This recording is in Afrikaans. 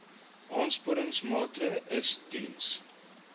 aansporingsmaatre ls diens